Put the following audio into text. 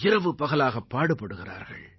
இரவு பகலாகப் பாடுபடுகிறார்கள்